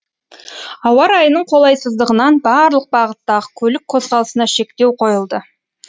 ауа райының қолайсыздығынан барлық бағыттағы көлік қозғалысына шектеу қойылды